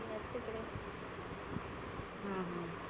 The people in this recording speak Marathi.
हम्म हम्म